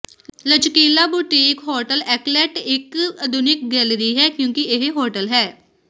ਲਚਕੀਲਾ boutique hotel ਐਕਲਟ ਇਕ ਆਧੁਨਿਕ ਗੈਲਰੀ ਹੈ ਕਿਉਂਕਿ ਇਹ ਹੋਟਲ ਹੈ